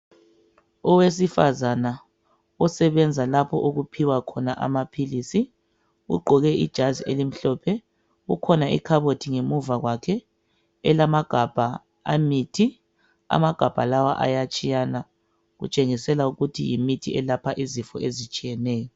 Owesifazana osebenza lapho okuphiwa khona amaphilisi ugqoke ijazi elimhlophe kukhona ikhabothi ngemuva kwakhe elagabha emithi. Amagabha lawa ayatshiyana kutshengisela ukuthi yimithi elapha izifo ezitshiyeneyo.